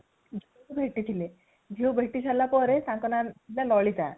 ଭେଟିଥିଲେ ଝିଅକୁ ଭେଟିସାରିଲା ପରେ ତାଙ୍କ ନା ଥିଲା ଲଳିତା